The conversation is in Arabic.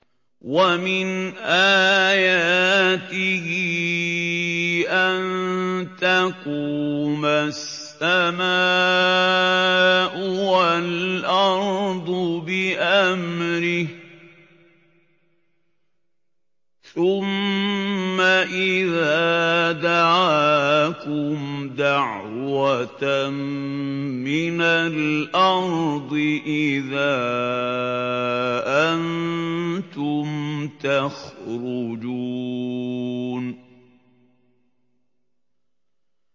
وَمِنْ آيَاتِهِ أَن تَقُومَ السَّمَاءُ وَالْأَرْضُ بِأَمْرِهِ ۚ ثُمَّ إِذَا دَعَاكُمْ دَعْوَةً مِّنَ الْأَرْضِ إِذَا أَنتُمْ تَخْرُجُونَ